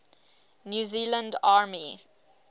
new zealand army